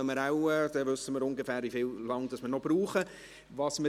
Dann wissen wir, wie lange wir ungefähr noch benötigen werden.